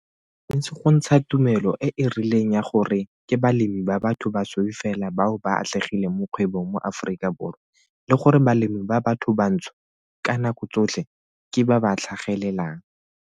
Ba tshwanetse go ntsha tumelo e e rileng ya gore ke balemi ba batho basweu fela bao ba atlegileng mo kgwebong mo Aforika Borwa, le gore balemi ba bathobantsho ka nako tsotlhe ke ba ba tlhagelelang.